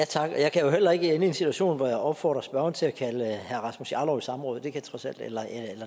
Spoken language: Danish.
tak og jeg kan jo heller ikke ende i en situation hvor jeg opfordrer spørgeren til at kalde herre rasmus jarlov i samråd eller